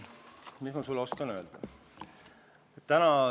Mis ma sulle oskan öelda?